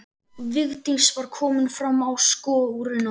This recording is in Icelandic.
Vigdís var komin fram á skörina.